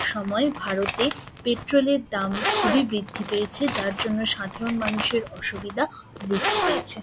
সময়ে ভারতে পেট্রোলের দাম খুবই বৃদ্ধি পেয়েছে। যার জন্যে সাধারণ মানুষের অসুবিধা বৃদ্ধি পেয়েছে ।